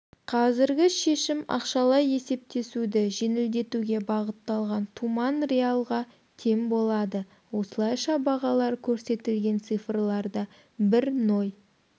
қазіргі шешім ақшалай есептесуді жеңілдетуге бағытталған туман риалға тең болады осылайша бағалар көрсетілген цифрларда бір ноль